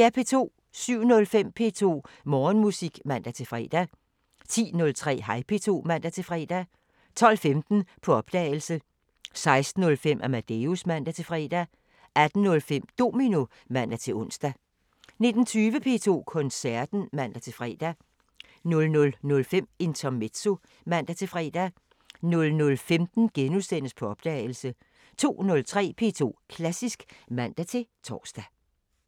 07:05: P2 Morgenmusik (man-fre) 10:03: Hej P2 (man-fre) 12:15: På opdagelse 16:05: Amadeus (man-fre) 18:05: Domino (man-ons) 19:20: P2 Koncerten (man-fre) 00:05: Intermezzo (man-fre) 00:15: På opdagelse * 02:03: P2 Klassisk (man-tor)